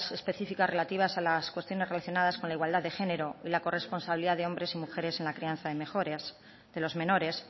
específicas relativas a las cuestiones relacionadas con la igualdad de género y la corresponsabilidad de hombres y mujeres en la crianza de los menores